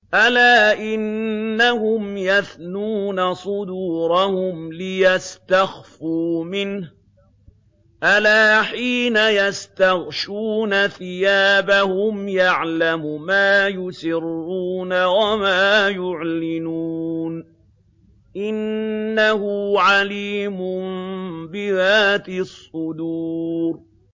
أَلَا إِنَّهُمْ يَثْنُونَ صُدُورَهُمْ لِيَسْتَخْفُوا مِنْهُ ۚ أَلَا حِينَ يَسْتَغْشُونَ ثِيَابَهُمْ يَعْلَمُ مَا يُسِرُّونَ وَمَا يُعْلِنُونَ ۚ إِنَّهُ عَلِيمٌ بِذَاتِ الصُّدُورِ